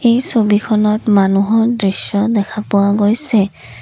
এই ছবিখনত মানুহৰ দৃশ্য দেখা পোৱা গৈছে।